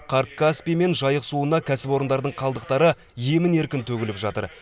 қарт каспий мен жайық суына кәсіпорындарың қалдықтары емін еркін төгіліп жатыр